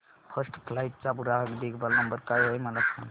first flight चा ग्राहक देखभाल नंबर काय आहे मला सांग